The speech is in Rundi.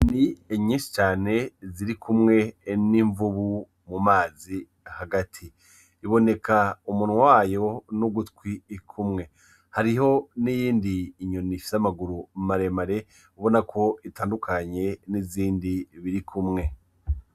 Inyoni ninyinshi cane zirikumwe n'imvubu mumazi hagati, iboneka umunwa wayo n'ugutwi kumwe, hariho n'iyindi nyoni ifise amaguru maremare ubonekako itandukanye n'izindi birikumwe.